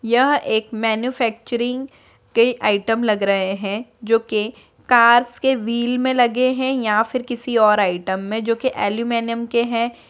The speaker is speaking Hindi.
यह एक मैन्युफैक्चरिंग के आइटम लग रहे है जो के कार्स के व्हील्स में लगे है या फिर किसी और आइटम में जोके एल्युमीनियम के हैं|